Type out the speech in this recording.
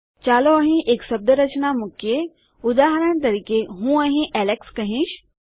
ચાલો અહીં એક શબ્દરચના મુકીએ ઉદાહરણ તરીકે હું અહીં એલેક્સ કહીશ